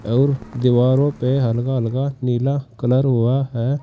और दिवारो पे हल्का हल्का नीला कलर हुआ है।